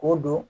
K'o don